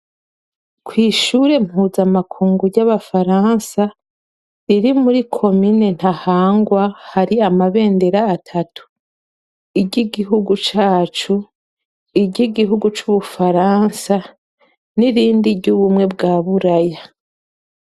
Kwishure mpuzamakungu ryabafaransa riri muri ko mine Ntahangwa hatu amabendera atatu iry'igihugu cacu iry'Ubufaransa hamwe niry'Ubumwe bw'Uburaya.